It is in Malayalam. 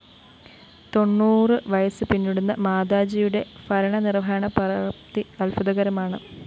തൊണ്ണൂറ് വയസ്സ് പിന്നിടുന്ന മാതാജിയുടെ ഭരണനിര്‍വഹണ പ്രാപ്തി അദ്ഭുതകരമാണ്